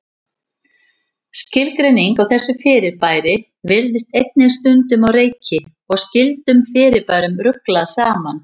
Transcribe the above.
Skilgreiningin á þessu fyrirbæri virðist einnig stundum á reiki og skyldum fyrirbærum ruglað saman.